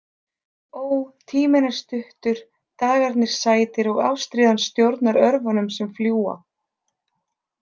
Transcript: Ó, tíminn er stuttur, dagarnir sætir og ástríðan stjórnar örvunum sem fljúga.